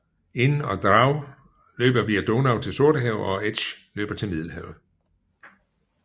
Inn og Drau løber via Donau til Sortehavet og Etsch løber til Middelhavet